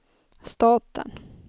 staten